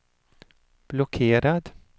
blockerad